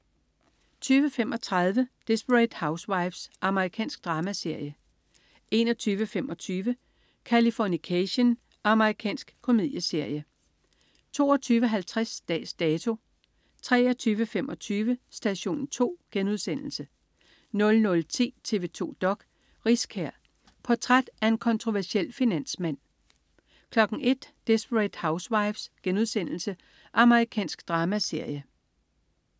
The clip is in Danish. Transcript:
20.35 Desperate Housewives. Amerikansk dramaserie 21.25 Californication. Amerikansk komedieserie 22.50 Dags Dato 23.25 Station 2* 00.10 TV 2 dok.: Riskær. Portræt af en kontroversiel finansmand 01.00 Desperate Housewives.* Amerikansk dramaserie